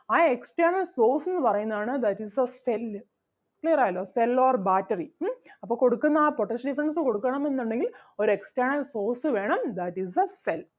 ആ external source എന്ന് പറയുന്നതാണ് that is the cell clear ആയല്ലോ cell or battery ഉം അപ്പം കൊടുക്കുന്ന ആ potential difference കൊടുക്കണം എന്നുണ്ടെങ്കിൽ ഒരു external source വേണം that is the cell